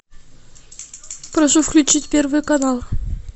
прошу включить первый канал